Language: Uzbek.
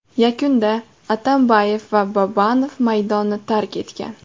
Yakunda Atambayev va Babanov maydonni tark etgan.